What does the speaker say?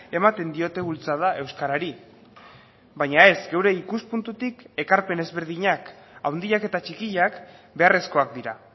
ematen diote bultzada euskarari baina ez geure ikuspuntutik ekarpen ezberdinak handiak eta txikiak beharrezkoak dira